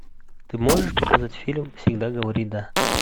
ты можешь показать фильм всегда говори да